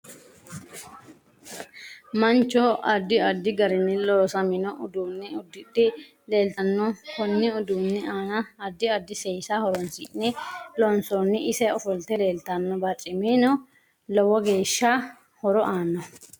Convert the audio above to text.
Mancho addi addi garini loosamino uduune udidhe leelttanno konni uduuni aana addi addi seesa horoonsine loonsooni ise ofolte leeltanno barcimi lowo horo aanoho